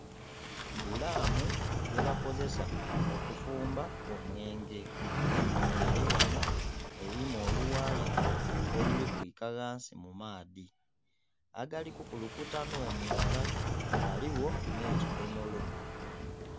Dhulamu ye bakozesa okufumba omwenge nga eri ghannho erimu olughaaya oluli kwika ghansi mu maadhi agali kukulukuta nho mwaala, ghaligho nhe kidhomolo.